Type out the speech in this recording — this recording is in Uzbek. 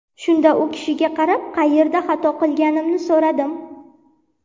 Shunda u kishiga qarab, qayerda xato qilganimni so‘radim.